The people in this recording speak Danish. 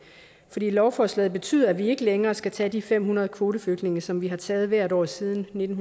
lovforslaget betyder at vi ikke længere skal tage de fem hundrede kvoteflygtninge som vi har taget hvert år siden nitten